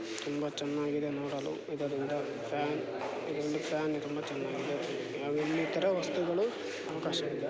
ತುಂಬಾ ಚೆನ್ನಾಗಿದೆ ನೋಡಲು ಇದರಿಂದ ಫ್ಯಾನ್ ಇದೊಂದು ಫ್ಯಾನ್ ತುಂಬಾ ಚೆನ್ನಾಗಿದೆ ಹಾಗು ಇನ್ನಿತರ ವಸ್ತುಗಳು ಅವಕಾಶ ಇಲ್ಲಾ.